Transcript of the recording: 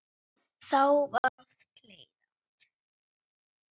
Þá var oft hlegið dátt.